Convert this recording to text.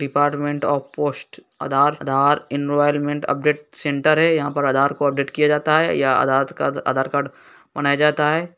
Department of post Aadhaar Aadhaar enrolment update centre है। यहाँ पर अधार को अपडेट किया जाता है। या आधात का आधार कार्ड बनाया जाता है।